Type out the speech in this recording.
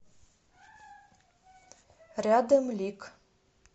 рядом лик